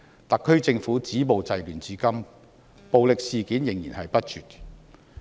特區政府止暴制亂至今，暴力事件仍然不絕。